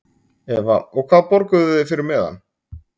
Eva: Og hvað borguðuð þið fyrir miðann?